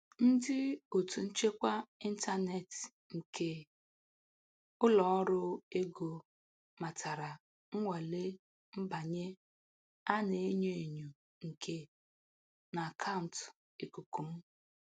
Ndị otu nchekwa intaneti nke ụlọ ọrụ ego matara nnwale mbanye a na-enyo enyo nke n'akauntu ikuku m.